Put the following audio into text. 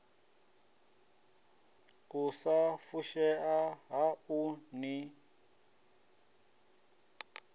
u sa fushea haṋu ni